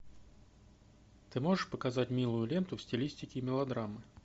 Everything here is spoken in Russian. ты можешь показать милую ленту в стилистике мелодрамы